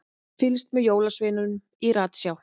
Fylgst með jólasveininum í ratsjá